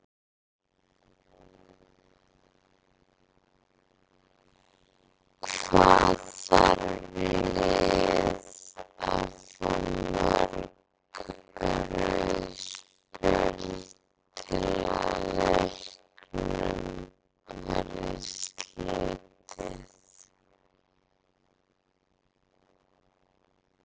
Hvað þarf lið að fá mörg rauð spjöld til að leiknum verði slitið?